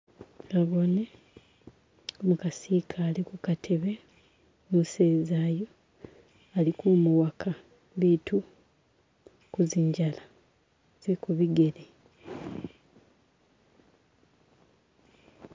Naboone umukasi ikale kukatebe , umuseza uyu ali kumuwaka biitu ku zinjala ze kubigele .